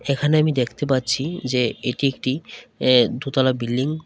এখানে আমি দেখতে । পাচ্ছি যে এটি একটি এ দুতালা বিল্ডিং